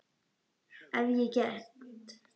Ef ég get.